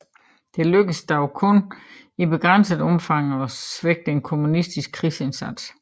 Det lykkedes dog kun i begrænset omfang at svække den kommunistiske krigsindsats